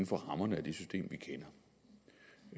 for rammerne